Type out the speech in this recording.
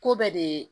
Ko bɛɛ de